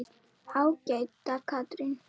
Ágæta Katrín.